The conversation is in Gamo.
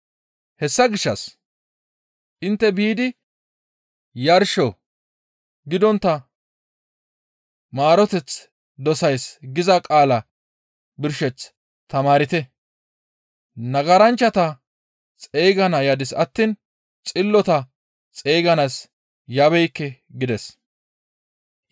Hessa gishshas, ‹Intte biidi yarsho gidontta maaroteth dosays› giza qaalaa birsheth tamaarte. Nagaranchchata xeygana yadis attiin xillota xeyganaas yabeekke» gides.